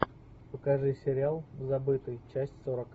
покажи сериал забытый часть сорок